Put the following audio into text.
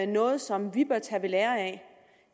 noget som vi bør tage ved lære af